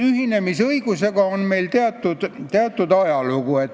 Ühinemisõigusel on meil teatud ajalugu.